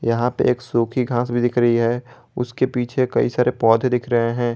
यहां पे एक सूखी घास भी दिख रही है उसके पीछे कई सारे पौधे दिख रहे हैं।